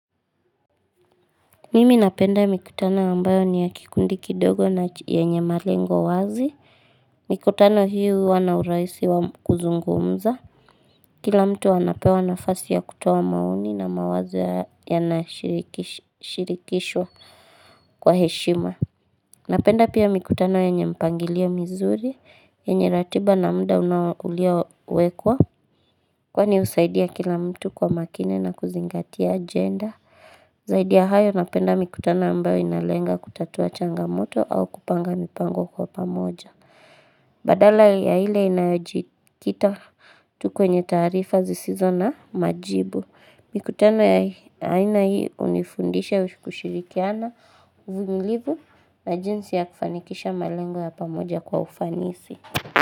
Mimi napenda mikutano ambayo ni ya kikundi kidogo na yenye malengo wazi Mikutano hii huwa na urahisi wa kuzungumza Kila mtu anapewa nafasi ya kutoa maoni na mawazo yanashirikishwa kwa heshima Napenda pia mikutano yenye mpangilio mizuri, yenye ratiba na muda unao uliowekwa. Kwani husaidia kila mtu kwa makini na kuzingatia ajenda Zaidi ya hayo napenda mikutano ambayo inalenga kutatua changamoto au kupanga mipango kwa pamoja. Badala ya ile inayojikita tu kwenye taarifa zisizo na majibu. Mikutano ya aina hii hunifundisha kushirikiana, uvumilivu na jinsi ya kufanikisha malengo ya pamoja kwa ufanisi.